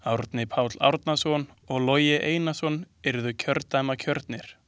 Árni Páll Árnason og Logi Einarsson yrðu kjördæmakjörnir.